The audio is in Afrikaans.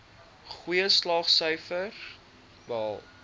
goeie slaagsyfers behaal